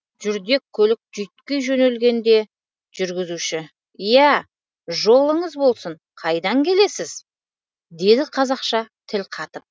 жүрдек көлік жүйтки жөнелгенде жүргізуші иә жолыңыз болсын қайдан келесіз деді қазақша тіл қатып